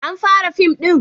an fara fim din?